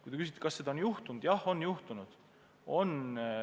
Kui te küsite, kas seda on juhtunud, siis jah, on juhtunud.